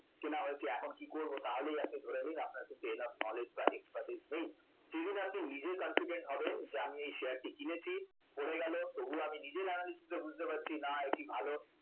এটা কেনা হয়েছে এখন কি করব তাহলেই কিন্তু আপনি ধরে নিন আপনার enough knowledge বা expertise নেই যেদিন আপনি নিজে confident হবেন যে আমি শেয়ারটি কিনেছি, পড়ে গেল তবুও আমি নিজের analysis এ বুঝতে পারছি না এটি ভালো